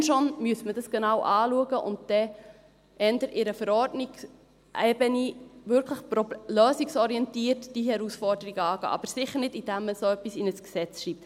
Wenn schon, müsste man das genau anschauen und dann eher auf Verordnungsebene diese Herausforderung wirklich lösungsorientiert angehen, aber sicher nicht, indem man so etwas in ein Gesetz schreibt.